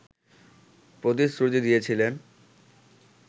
প্রতিশ্রুতি দিয়েছিলেন